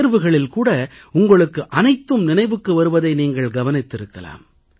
தேர்வுகளில் கூட உங்களுக்கு அனைத்தும் நினைவுக்கு வருவதை நீங்கள் கவனித்திருக்கலாம்